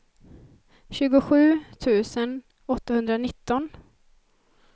tjugosju tusen åttahundranitton